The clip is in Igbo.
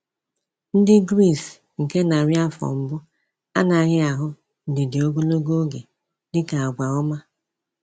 Ndị Gris nke narị afọ mbụ anaghị ahụ ndidi ogologo oge dị ka àgwà ọma.